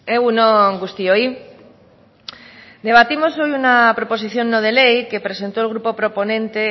egun on guztioi debatimos hoy una proposición no de ley que presentó el grupo proponente